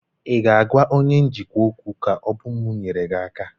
Ị ga-àgwá onye njikwa ókwú, ka ọ bụ m nyere gị aka?